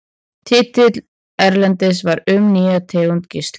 Titill erindisins var Um nýja tegund geisla.